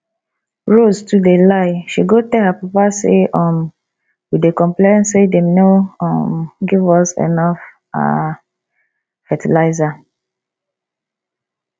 rose too dey lie she go tell her papa say um we dey complain say dem no um give us enough um fertilizer